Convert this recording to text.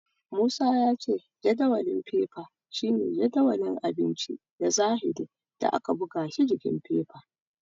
Musa ya ce jadawalin fefa shine jadawalin abinci na zahiri da aka buga shi s jikin fefa.